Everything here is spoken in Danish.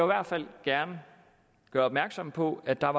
hvert fald gerne gøre opmærksom på at der